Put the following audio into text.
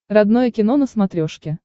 родное кино на смотрешке